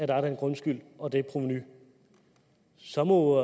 der er den grundskyld og det provenu så må